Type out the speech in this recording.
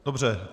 Dobře.